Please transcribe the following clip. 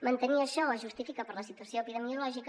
mantenir això es justifica per la situació epidemiològica